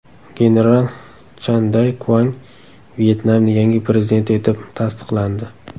General Chan Day Kuang Vyetnamning yangi prezidenti etib tasdiqlandi.